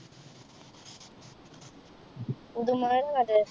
പുതുമഴ